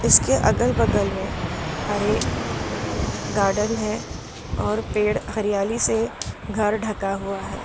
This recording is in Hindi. इसके अगल बगल में हरे गार्डेन है और पेड़ हरियाली से घर ढका हुआ है।